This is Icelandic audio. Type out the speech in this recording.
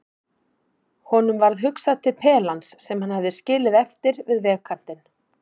Honum varð hugsað til pelans sem hann hafði skilið eftir við vegarkantinn.